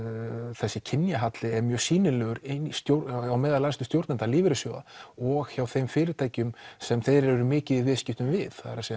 þessi kynjahalli er mjög sýnilegur innan æðstu stjórnenda lífeyrissjóða og hjá þeim fyrirtækjum sem þeir eru mikið í viðskiptum við það er